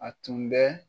A tun bɛ